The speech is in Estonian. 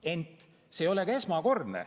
Ent see ei ole esmakordne.